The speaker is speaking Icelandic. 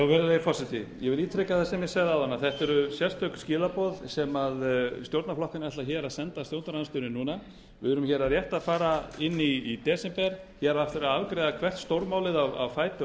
virðulegi forseti ég vil ítreka það sem ég sagði áðan að þetta eru sérstök skilaboð sem stjórnarflokkarnir ætla að senda stjórnarandstöðunni núna við erum rétt að fara inn í desember hér er eftir að afgreiða hvert stórmálið á fætur